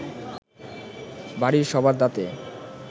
বাড়ির সবার দাঁতে